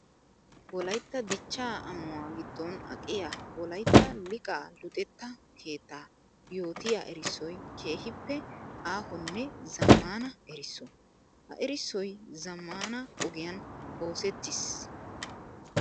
Wolaytta dichcha amuwa gidon aqiya wolaytta liiqa luxetta keetta yootiya erissoy keehippe aahonne zamaana erisso. Ha erissoy zamaana ogiyan oosettis.